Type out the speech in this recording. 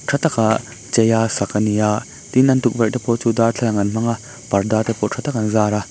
ṭha taka chei a sak a ni a tin an tukverhte pawh chu darthlalang an hmang a parda te pawh ṭha tak an zâr a.